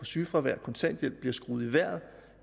sygefravær og kontanthjælp bliver skruet i vejret